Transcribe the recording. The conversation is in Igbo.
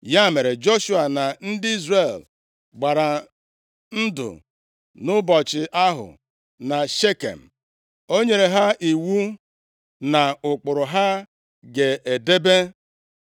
Ya mere, Joshua na ndị Izrel gbara ndụ nʼụbọchị ahụ na Shekem. O nyere ha iwu na ụkpụrụ ha ga-edebe.